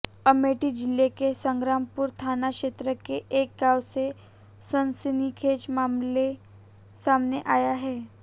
अमेठी जिले के संग्रामपुर थाना क्षेत्र के एक गांव से सनसनीखेज मामला सामने आया है